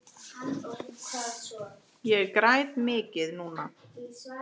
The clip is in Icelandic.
Ég græt mikið núna.